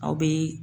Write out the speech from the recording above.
Aw bɛ